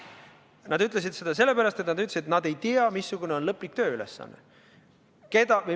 Nad ütlesid seda sellepärast, et nad ei teadnud, missugune on lõplik tööülesanne.